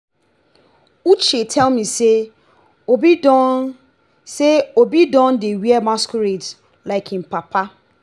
uche tell me say obi don say obi don dey wear masquerade like im papa.